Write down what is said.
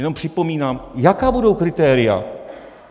Jenom připomínám: Jaká budou kritéria?